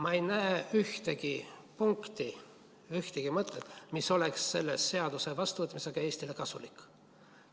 Ma ei näe ühtegi punkti, ühtegi mõtet, mis oleks selle seaduse vastuvõtmisega Eestile kasulik.